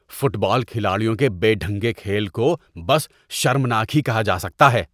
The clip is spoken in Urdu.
فٹ بال کھلاڑیوں کے بے ڈھنگے کھیل کو بس شرمناک ہی کہا جا سکتا ہے۔